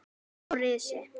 Og risi!